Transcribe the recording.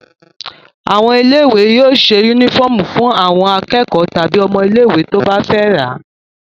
Àwọn ilé-ìwé yóò ṣe únífọ́ọ́mù fún àwọn akẹ́kọ̀ọ́ tàbí ọmọ ilé-ìwé tí ó bá fẹ́ rà.